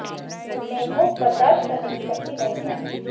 उनमें भूख बर्दाश्त करने की शक्ति नहीं है